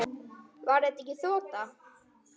Var þetta ekki þota?